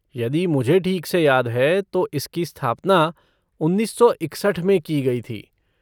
यदि मुझे ठीक से याद है तो इसकी स्थापना उन्नीस सौ इकसठ में की गई थी।